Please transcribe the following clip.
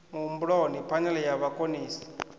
muhumbuloni phane e ya vhakonesi